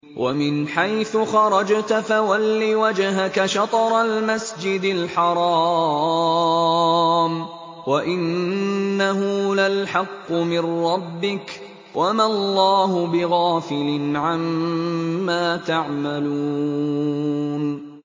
وَمِنْ حَيْثُ خَرَجْتَ فَوَلِّ وَجْهَكَ شَطْرَ الْمَسْجِدِ الْحَرَامِ ۖ وَإِنَّهُ لَلْحَقُّ مِن رَّبِّكَ ۗ وَمَا اللَّهُ بِغَافِلٍ عَمَّا تَعْمَلُونَ